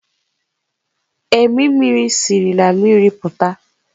Emimiri siri na mmiri pụta.